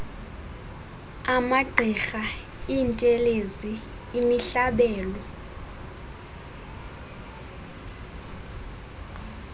amagqirha iintelezi imihlabelo